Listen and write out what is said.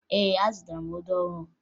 Ee, azụtara ọdụ ọhụrụ